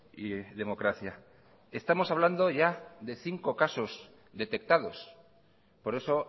y democracia estamos hablando ya de cinco casos detectados por eso